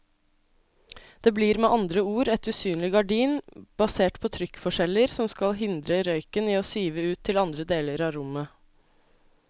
Det blir med andre ord et usynlig gardin basert på trykkforskjeller som skal hindre røyken i å sive ut til andre deler av rommet.